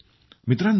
मित्रांनो